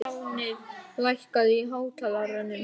Fáfnir, lækkaðu í hátalaranum.